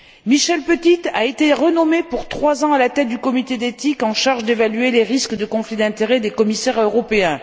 Michel Petite a été renommé pour trois ans à la tête du comité d'éthique en charge d'évaluer les risques de conflit d'intérêts des commissaires européens.